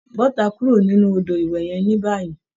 Bọ́ta kúrò nínú odò ìwẹ̀ yẹn ní báyìí.